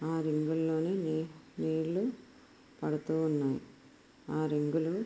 ఆ రింగు లలోని నీళ్లు పడుతూ ఉన్నాయి. ఆ రింగు లు --